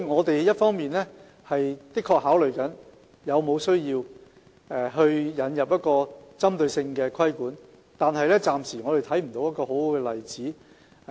所以，一方面我們的確正在考慮有沒有需要引入一套針對性的規管，但暫時看不到一個很好的例子。